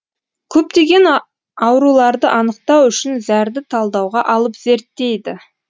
көптеген ауруларды анықтау үшін зәрді талдауға алып зерттейді